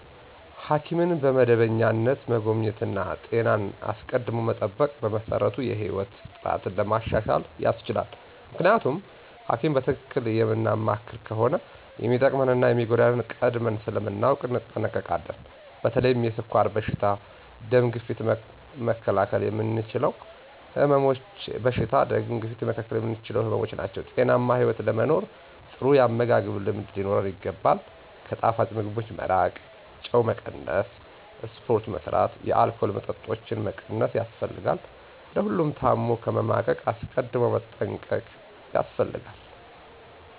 ሐኪምን በመደበኛነት መጎብኘት እና ጤናን አስቀድሞ መጠበቅ በመሰረቱ የህይወት ጥራትን ለማሻሻል ያስችላል። ምክንያቱም ሀኪም በትክክል የምናማክር ከሆነ የሚጠቅመንን እና የሚጎዳንን ቀድመን ስለምናውቅ እንጠነቀቃለን። በተለይ የስኳር በሽታ፣ ደም ግፊት መከላከል የምንችላቸው ህመምች ናቸው። ጤናማ ህይወት ለመኖር ጥሩ ያመጋገብ ልምድ ሊኖረን ይገባል፣ ከጣፋጭ ምግቦች መራቅ፣ ጨው መቀነስ፣ ስፖርት መስራት፣ የአልኮል መጠጦችን መቀነስ ያስፈልጋል። ለሁሉም ታም ከመማቀቅ አስቀድም መጠንቀቅ ያስፈልጋል።